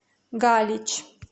галич